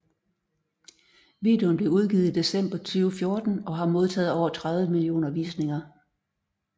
Videoen blev udgivet i december 2014 og har modtaget over 30 millioner visninger